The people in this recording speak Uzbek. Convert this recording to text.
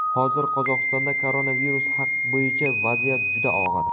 Hozir Qozog‘istonda koronavirus bo‘yicha vaziyat juda og‘ir.